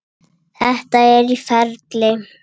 Þetta er í ferli.